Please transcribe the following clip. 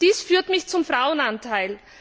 Dies führt mich zum Frauenanteil.